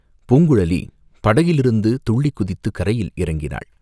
பூங்குழலி படகிலிருந்து துள்ளிக் குதித்துக் கரையில் இறங்கினாள்.